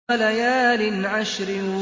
وَلَيَالٍ عَشْرٍ